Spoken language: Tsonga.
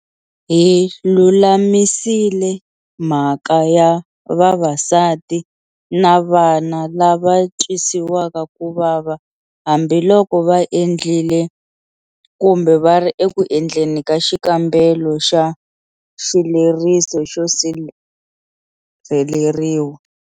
Hi lulamisile mhaka ya vavasati na vana lava twisiwaka ku vava hambiloko va endlile, kumbe va ri eku endleni ka xikombelo xa xileriso xo sirheleriwa.